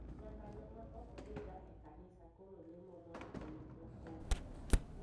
Nyaka joma ok dhi ga e kanisa koro lemo mondo oyud okombe.